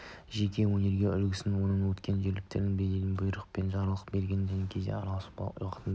жеке өнеге үлгісімен оның өктем ерік-жігерімен беделімен бұйрық пен жарлық берген кезде әскер барлық уақытта